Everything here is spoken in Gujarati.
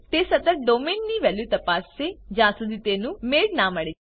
તે સતત ડોમેઇન ની વેલ્યુ તપાસસે જ્યાર સુધી તેનું મેળ ના મળે